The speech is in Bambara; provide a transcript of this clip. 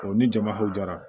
ni jama hakɛra